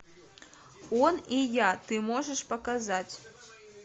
он и я ты можешь показать